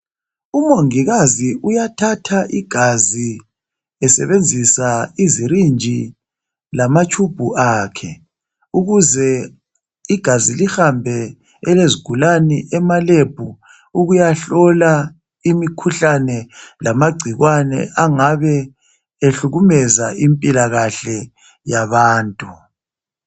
Umongikazi uyathatha igazi esebenzisa izirinji lamatshumbu akhe ukuze igazi lihambe elezigulane emalebhu ukuyahlolwa imikhuhlane lamangcikwane angabe ehlukumeza impilo yabantu